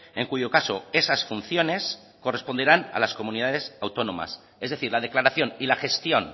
en cuyo caso esas funciones corresponderán a las comunidades autónomas es decir la declaración y la gestión